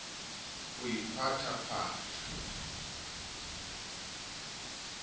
ho iphaphatha le lebopo la